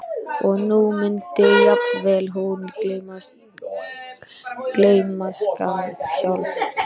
Og nú mundi jafnvel hún gleymast, gleymskan sjálf.